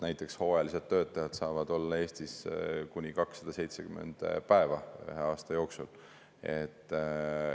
Näiteks hooajalised töötajad saavad olla Eestis kuni 270 päeva ühe aasta jooksul.